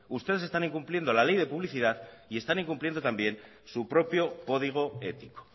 ustedes están incumpliendo la ley de publicidad y están incumpliendo también su propio código ético